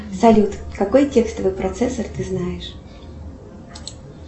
салют какой текстовый процессор ты знаешь